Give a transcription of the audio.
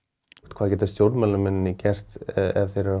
hvað geta stjórnmálamennirnir gert ef þeir eru að